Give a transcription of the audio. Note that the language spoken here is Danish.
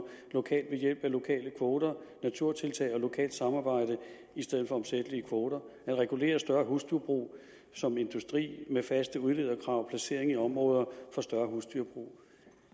lokalt ved hjælp af lokale kvoter og naturtiltag og lokalt samarbejde i stedet for omsættelige kvoter og at regulere større husdyrbrug som industri med faste udlederkrav og placering i områder for større husdyrbrug